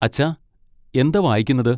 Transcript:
അച്ഛാ, എന്താ വായിക്കുന്നത്?